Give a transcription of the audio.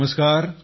नमस्कार